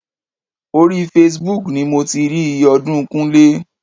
Orí Facebook ni mo ti rí iye ọdún Kúnlé.